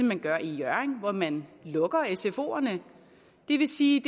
man gør i hjørring hvor man lukker sfoerne det vil sige